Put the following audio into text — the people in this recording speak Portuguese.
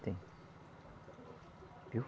Tem.